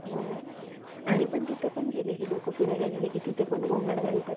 तो पर्यंत store असतो, जोपर्यंत आपण तो delet करत नाही. drive मध्ये store होणाऱ्या data चे प्रमाण